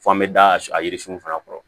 Fɔ an bɛ da a yiririsun fana kɔrɔ